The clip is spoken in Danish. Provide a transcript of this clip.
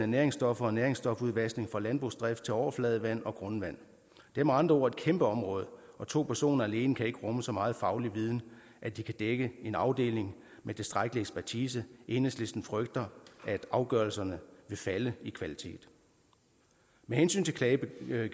næringsstoffer og næringsstofudvaskning fra landbrugsdrift til overfladevand og grundvand det er med andre ord et kæmpe område og to personer alene kan ikke rumme så meget faglig viden at de kan dække en afdeling med tilstrækkelig ekspertise enhedslisten frygter at afgørelserne vil falde i kvalitet med hensyn til klagegebyrerne